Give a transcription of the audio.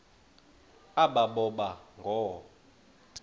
aba boba ngoo